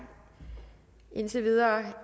indtil videre